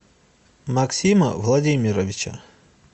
максима владимировича